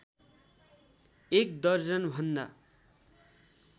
एक दर्जन भन्दा